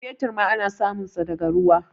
fetur ma ana sumunsa daga ruwa